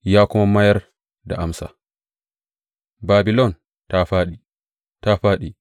Ya kuma mayar da amsa, Babilon ta fāɗi, ta fāɗi!